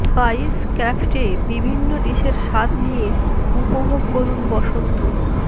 spice ক্র্যাফ্টে বিভিন্ন ডিশের স্বাদ নিয়ে উপভোগ করুন বসন্ত